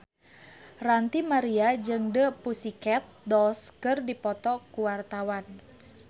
Ranty Maria jeung The Pussycat Dolls keur dipoto ku wartawan